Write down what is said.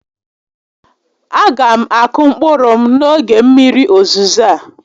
A ga m akụ mkpụrụ m n'oge mmiri ozizo a